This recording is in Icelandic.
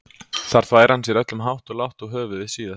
Þar þvær hann sér öllum hátt og lágt og höfuðið síðast.